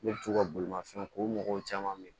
Ne bɛ to ka bolimafɛnw ko ɲɔgɔn caman bɛ yen